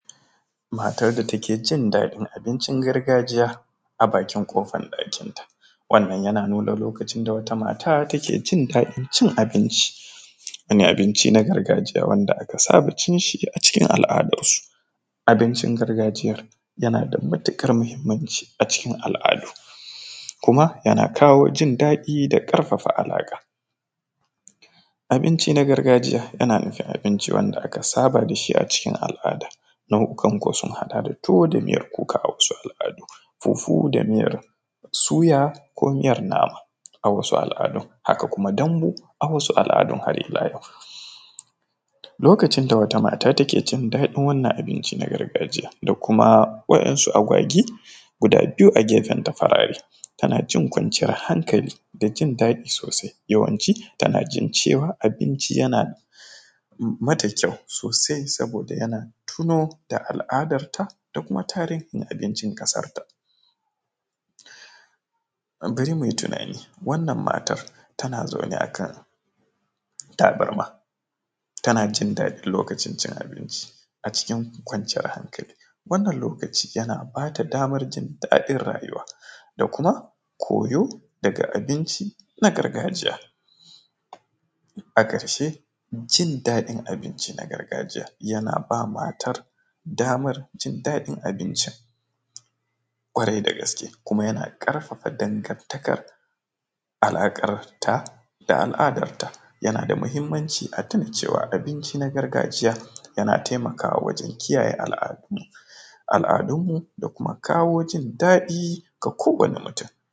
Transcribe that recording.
Matar da take jin daɗin abincin gargajiya a bakin ƙofan ɗakinta, wannan yana nuna lokacin da wata mata take cin daɗin cin abinci shi ne abinci na gargajiya wanda aka saba cin shi a cikin al’adar su abincin gargajiya yana da mutuƙar muhimmanci a cikin al’adu kuma yana kawo jin daɗi da ƙarfafa alaƙa, abinci na gargajiya yana nufin abinci wanda aka saba da shi a cikin al’ada nau’ikan sun haɗa da tuwo da miyar kuka, a wasu al’adu fufu da miyar suya ko miyar nama, a wasu al’adun haka kuma dambu, a wasu al’adun har ila yau lokacin da wata mata take cin daɗin wannan abinci na gargajiya da kuma waɗansu a gwagwi guda biyu a gefenta farare tana jin kwanciyar hankali da jin daɗi sosai, yawanci tana jin cewa abinci yana mata kyau sosai saboda yana tuna da al’adarta da kuma tarihin abincin ƙasarta bari muyi tunani wannan matar tana zaune akan tabarma tana jin daɗin lokacin cin abinci a cikin kwanciyar hankali, wannan lokaci yana bata damar jin daɗin rayuwa da kuma koyo daga abinci na gargajiya a karshe jin daɗin abinci na gargajiya yana bama matar damar jin daɗin abincin kwarai da gaske kuma yana ƙarfafa dangartakar alaƙarta da al’adarta, yana da muhimmanci a tuna cewa abinci na gargajiya yana taimakawa wajen kiyaye al’adu al’adunmu da kuma kawo jin daɗi ga kowani mutum.